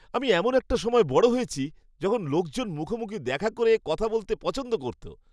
আমি এমন একটা সময়ে বড় হয়েছি, যখন লোকজন মুখোমুখি দেখা করে, কথা বলতে পছন্দ করত।